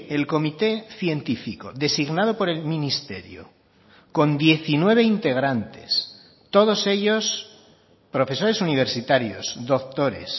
el comité científico designado por el ministerio con diecinueve integrantes todos ellos profesores universitarios doctores